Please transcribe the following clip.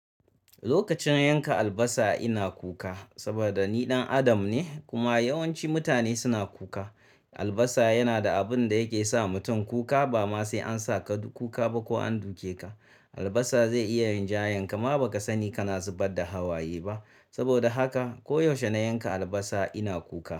Lokacin yanka albasa ina kuka saboda ni ɗan Adam ne kuma yawanci mutane suna kuka. Albasa yana da abin da yake sa mutum kuka ba ma sai an sa ka kuka ba ko an duke ka. Albasa zai iya rinjayanka ma baka sani kana zubar da hawaye ba. Saboda haka ko yaushe na yanka albasa ina kuka.